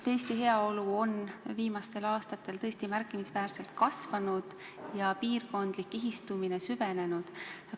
Eesti heaolu on viimastel aastatel tõesti märkimisväärselt kasvanud ja piirkondlik kihistumine on süvenenud.